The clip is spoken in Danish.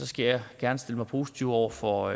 skal jeg gerne stille mig positivt over for